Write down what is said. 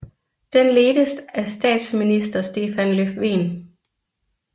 Den ledtes af statsminister Stefan Löfven